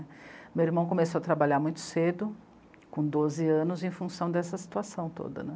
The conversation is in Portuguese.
Meu irmão começou a trabalhar muito cedo, com doze anos, em função dessa situação toda, né.